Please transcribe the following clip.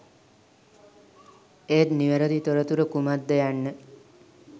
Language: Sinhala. ඒත් නිවැරදි තොරතුර කුමක්ද යන්න